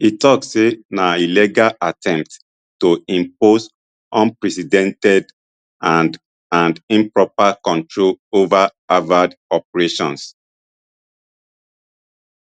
e tok say na illegal attempt to impose unprecedented and and improper control ova harvard operations